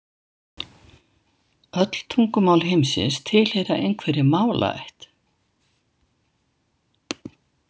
Öll tungumál heimsins tilheyra einhverri málaætt.